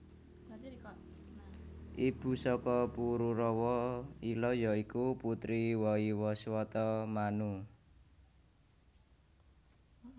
Ibu saka Pururawa Ila ya iku putri Waiwaswata Manu